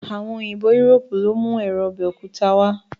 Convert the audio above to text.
Àwọn òyìnbó Europe ló mú èro ọbẹ̀ òkúta wá